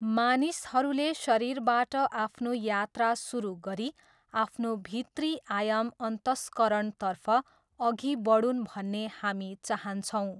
मानिसहरूले शरीरबाट आफ्नो यात्रा सुरु गरी आफ्नो भित्री आयाम अन्तस्करणतर्फ अघि बढून् भन्ने हामी चाहन्छौँ।